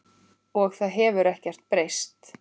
Og það hefur ekkert breyst.